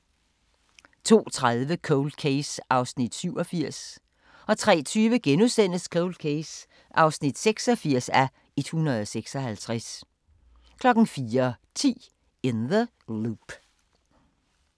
02:30: Cold Case (87:156) 03:20: Cold Case (86:156)* 04:10: In the Loop